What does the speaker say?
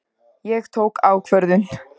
Ég tók ákvörðun.